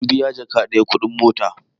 Mun biya jaka daya (Ɗari biyu) kuɗin mota